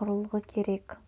құрылғы керек